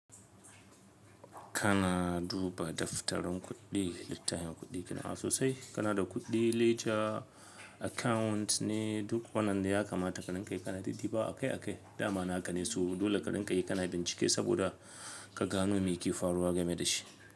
Kana duba daftarin kuɗi, littafin kuɗi ka na sosai. Kana da kuɗi ledger account ne duk wannan ya kamata kaɗan kai ka na didiba akai akai. Da ma'ana ka ne su dole kaɗan ka yi ka na bincike saboda ka gano me ke faruwa game da shi.